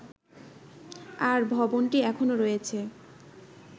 আর ভবনটি এখনও রয়েছে